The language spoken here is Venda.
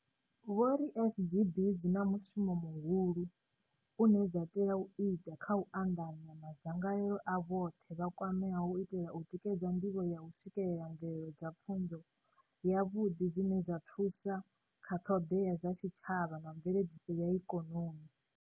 Vho ri SGB dzi na mushumo muhulu une dza tea u ita kha u anḓanya madzangalelo a vhoṱhe vha kwameaho u itela u tikedza ndivho ya u swikelela mvelelo dza pfunzo yavhuḓi dzine dza thusa kha ṱhoḓea dza tshitshavha na mveledziso ya ikonomi.